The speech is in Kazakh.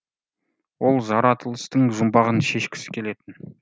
ол жаратылыстың жұмбағын шешкісі келетін